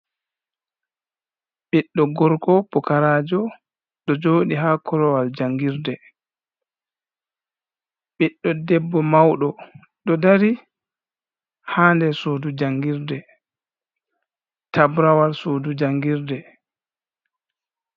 Ɓiɗɗo gorgo pukarajo ɗo joɗi ha korowal jangirde, ɓiɗɗo ɗebbo mauɗo ɗo dari ha nder sudu jangirde, tabrawal sudu jangirde.